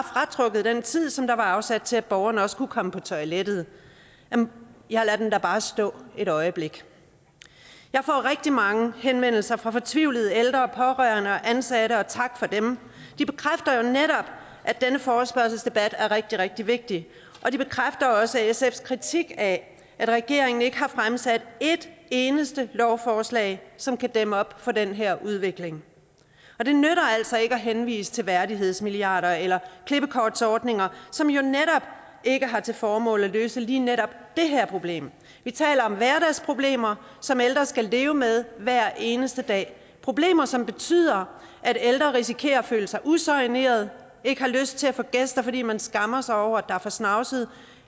fratrukket den tid som var afsat til at borgeren også kunne komme på toilettet ja lad den bare stå et øjeblik jeg får rigtig mange henvendelser fra fortvivlede ældre pårørende og ansatte og tak for dem de bekræfter jo netop at denne forespørgselsdebat er rigtig rigtig vigtig og de bekræfter også sfs kritik af at regeringen ikke har fremsat et eneste lovforslag som kan dæmme op for den her udvikling og det nytter altså ikke at henvise til værdighedsmilliarder eller klippekortsordninger som jo netop ikke har til formål at løse lige netop det her problem vi taler om hverdagsproblemer som ældre skal leve med hver eneste dag problemer som betyder at ældre risikerer at føle sig usoignerede at ikke har lyst til at få gæster fordi man skammer sig over at der er for snavset